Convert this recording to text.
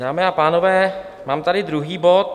Dámy a pánové, mám tady druhý bod.